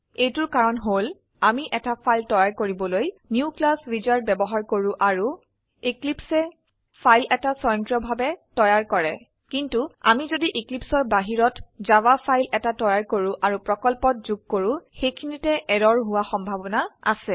এইটোৰ কাৰণ হল আমি এটা ফাইল তৈয়াৰ কৰিবলৈ নিউ ক্লাছ উইজাৰ্ড ব্যবহাৰ কৰো আৰু eclipseয়ে ফাইল এটা স্বয়ংক্ৰিয়ভাবে তৈয়াৰ কৰে কিন্তু আমি যদি Eclipseৰ বাহিৰত জাভা ফাইল এটা তৈয়াৰ কৰো আৰু প্ৰকল্পত যোগ কৰো সেখিনিতে এৰৰ হোৱা সম্ভাবনা আছে